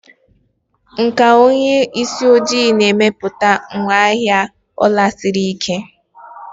Nkà onye isi ojii na-emepụta ngwaahịa ọla siri ike.